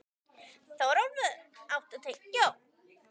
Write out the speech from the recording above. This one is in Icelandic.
Þórólfur, áttu tyggjó?